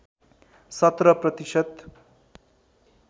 १७ प्रतिशत